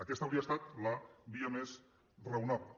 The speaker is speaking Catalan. aquesta hauria estat la via més raonable